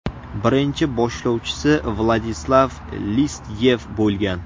Birinchi boshlovchisi Vladislav Listyev bo‘lgan.